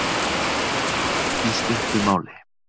Í stuttu máli